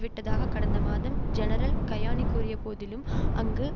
விட்டதாக கடந்த மாதம் ஜெனரல் கயானி கூறிய போதிலும் அங்கு